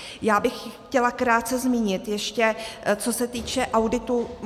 Já bych chtěla krátce zmínit ještě, co se týče auditu.